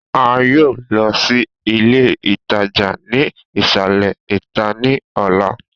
A yoo lọ si ile itaja ni isalẹ ita ni ọla.